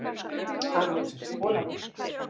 Amerískur bolabítur